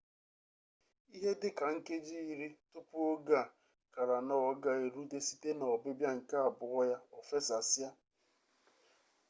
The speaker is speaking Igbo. ihe dịka nkeji iri tupu oge a kara n'ọga erute site n'ọbịbịa nke abụọ ya o fesasịa